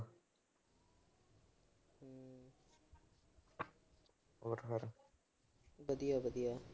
ਵਧੀਆ ਵਧੀਆ।